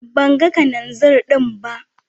Ban gan Kananzir din ba.